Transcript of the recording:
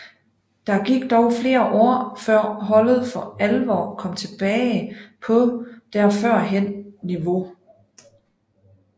Der gik dog flere år før holdet for alvor kom tilbage på der førhen niveau